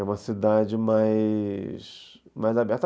É uma cidade mais mais aberta.